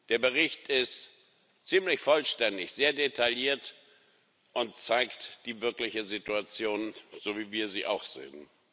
Der Bericht ist ziemlich vollständig, sehr detailliert und zeigt die wirkliche Situation, so wie wir sie auch sehen.